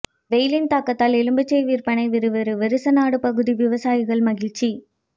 வெயிலின் தாக்கத்தால் எலுமிச்சை விற்பனை விறுவிறு வருசநாடு பகுதி விவசாயிகள் மகிழ்ச்சி